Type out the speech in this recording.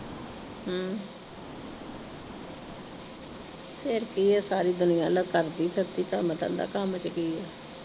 ਫੇਰ ਕੀ ਆ ਸਾਰੀ ਦੁਨੀਆਂ ਨਾ ਕਰਦੀ ਫਿਰਦੀ ਕੰਮ ਧੰਦਾ, ਕੰਮ ਚ ਕੀ ਆ।